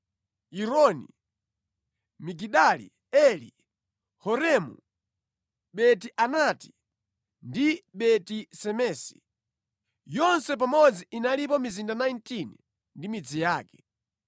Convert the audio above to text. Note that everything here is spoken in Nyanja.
Yironi, Migidali Eli, Horemu, Beti-Anati ndi Beti-Semesi. Yonse pamodzi inalipo mizinda 19 ndi midzi yake.